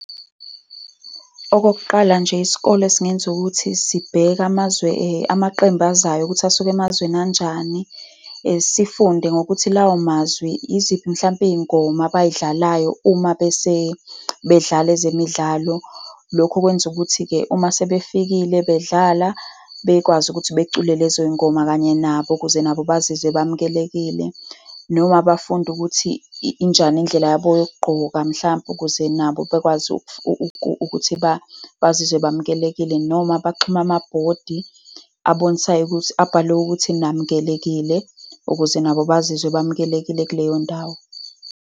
Okokuqala nje, isikole singenza ukuthi sibheke amazwe amaqembu azayo ukuthi asuke emazweni anjani. Sifunde ngokuthi lawo mazwe, yiziphi mhlampe iy'ngoma abay'dlalayo uma bese bedlala ezemidlalo. Lokho kwenza ukuthi-ke, uma sebefikile, bedlala, bekwazi ukuthi becule lezo ngoma kanye nabo, ukuze nabo bazizwe bamukelekile. Noma bafunde ukuthi injani indlela yabo yokugqoka, mhlampe ukuze nabo bakwazi ukuthi bazizwe bamukelekile, noma baxhume amabhodi abonisayo ukuthi, abhalwe ukuthi namukelekile, ukuze nabo bazizwe bamukelekile kuleyo ndawo.